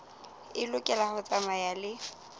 e lokela ho tsamaya le